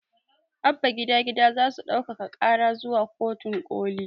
Abba gida gida zasu ɗaukaka ƙara zuwa kotun ƙoli